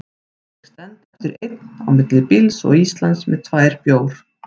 Ég stend eftir einn, á milli bíls og Íslands, með tvær bjór